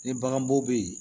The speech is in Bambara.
Ni bagan bo be yen